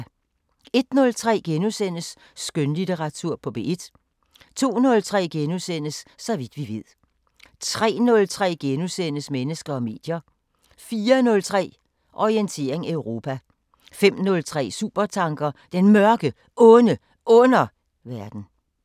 01:03: Skønlitteratur på P1 * 02:03: Så vidt vi ved * 03:03: Mennesker og medier * 04:03: Orientering Europa 05:03: Supertanker: Den Mørke, Onde Underverden